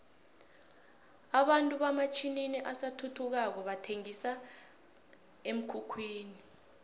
abantu hamatjninini asathuthukako bathenqisa emkhukhwini